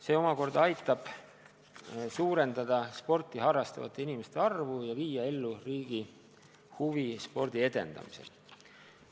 See omakorda aitab suurendada sporti harrastavate inimeste arvu ja viia ellu riigi huve spordi edendamisel.